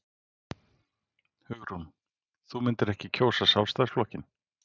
Hugrún: Þú myndir ekki kjósa Sjálfstæðisflokkinn?